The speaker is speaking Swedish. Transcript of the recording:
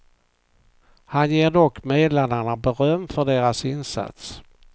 Han ger dock medlarna beröm för deras insats.